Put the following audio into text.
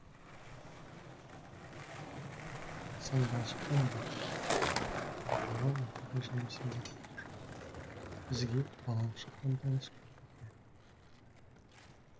саз балшықтан баққа атауы оқиға желісін білдіріп тұр бізге балалық шақтан таныс күлбике